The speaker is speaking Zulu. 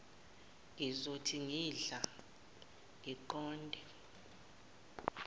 ngizothi ngingadla ngiqonde